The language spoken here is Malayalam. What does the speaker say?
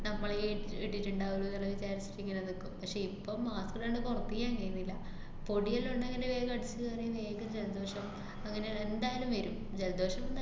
നമ്മളേ ഇട്ടിട്ട്ണ്ടാവുള്ളുന്നൊള്ള വിചാരത്തില് ഇങ്ങനെ നിക്കും. പക്ഷെ ഇപ്പം mask ഇടാണ്ട് പുറത്തേയ്ക്കേ എങ്ങീന്നില്ല. പൊടി വല്ലോണ്ടെങ്കില് വേഗം അടിച്ചുകേറി വേഗം ജലദോഷം അങ്ങനെ എന്തായാലും വരും, ജലദോഷം